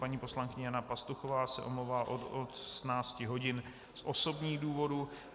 Paní poslankyně Jana Pastuchová se omlouvá od 18 hodin z osobních důvodů.